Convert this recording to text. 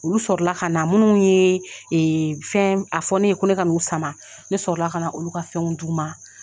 Olu sɔrɔ la ka na minnu ye fɛn a fɔ ne ye ko ne ka n'u sama, ne sɔrɔ la ka olu ka fɛnw d'u ma.